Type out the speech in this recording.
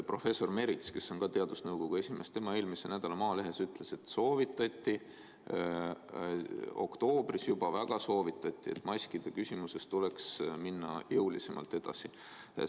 Professor Merits, kes on teadusnõukoja liige, ütles eelmise nädala Maalehes, et juba oktoobris väga soovitati, et maskide küsimuses tuleks jõulisemalt edasi minna.